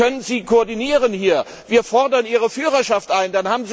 Wie können Sie hier koordinieren? Wir fordern Ihre Führerschaft ein!